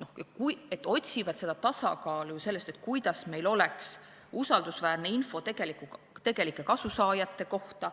Nad otsivad tasakaalu, kuidas meil oleks usaldusväärne info tegelike kasusaajate kohta